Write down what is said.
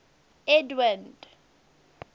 edwind